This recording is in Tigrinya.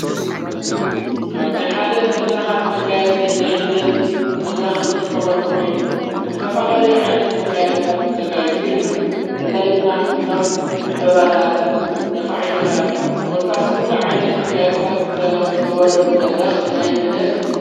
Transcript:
እዙይ ካብ ናይ ሓደ መድራኻት መጋያጺ ናይ ልደት መድረኽ እንጥቀመሉ ኾይኑ ብዝተፋላል ዓይነት መጋያጥታት ተጋይጽ ይርከብ ፍላይ ድማ ከም ዕምበባታት ነፍሒቶታት ክጐታስ ኲሉ ዓይነት መጋያቕታት ተገበረሉ መድረኽ ናይ ልደት እዩ።